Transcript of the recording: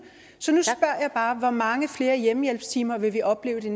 hvor mange flere hjemmehjælpstimer vil vi opleve i de